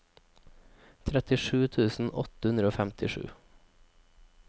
trettisju tusen åtte hundre og femtisju